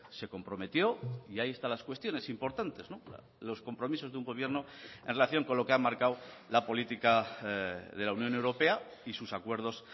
se comprometió y ahí están las cuestiones importantes los compromisos de un gobierno en relación con lo que ha marcado la política de la unión europea y sus acuerdos